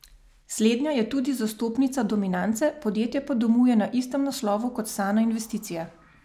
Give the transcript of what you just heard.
Slednja je tudi zastopnica Dominance, podjetje pa domuje na istem naslovu kot Sana investicije.